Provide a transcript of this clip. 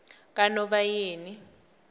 kanobayeni